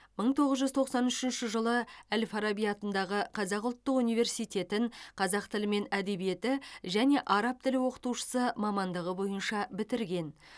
мың тоғыз жүз тоқсан үшінші жылы әл фараби атындағы қазақ ұлттық университетін қазақ тілі мен әдебиеті және араб тілі оқытушысы мамандығы бойынша бітірген